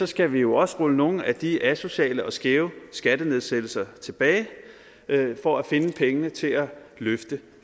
skal vi jo også rulle nogle af de asociale og skæve skattenedsættelser tilbage for at finde pengene til at løfte